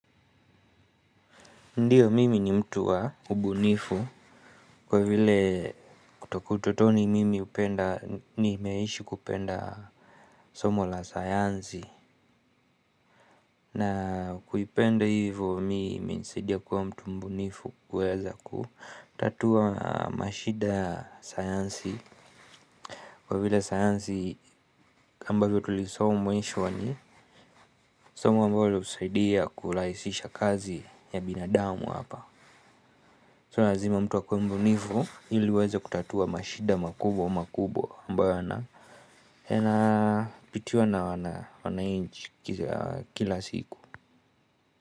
Ndiyo mimi ni mtu wa ubunifu kwa vile kutoka ututoni mimi upenda nimeishi kupenda somo la sayansi na kuipenda hivo mi imenisaidia kuwa mtu mbunifu kuweza kutatua mashida ya sayansi. Kwa vile sayansi ambavyo tulisoma mwisho wani somo ambalo lihusidia kulahisisha kazi ya binadamu hapa So razima mtu akuwe mbunivu ili uweza kutatua mashida makubwa makubwa ambayo yana Hena pitiwa na wanainchi kila siku.